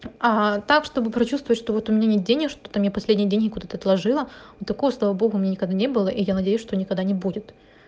а так чтобы прочувствовать что вот у меня нет денег что там я последние деньги куда-то отложила но такого слава богу у меня никогда не было и я надеюсь что никогда не будет